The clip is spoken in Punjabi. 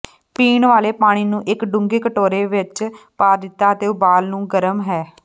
ਪੀਣ ਵਾਲੇ ਪਾਣੀ ਨੂੰ ਇੱਕ ਡੂੰਘੀ ਕਟੋਰੇ ਵਿੱਚ ਪਾ ਦਿੱਤਾ ਅਤੇ ਉਬਾਲ ਨੂੰ ਗਰਮ ਹੈ